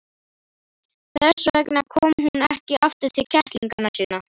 Þess vegna kom hún ekki aftur til kettlinganna sinna.